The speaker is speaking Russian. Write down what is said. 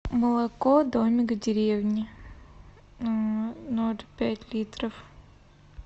молоко домик в деревне ноль пять литров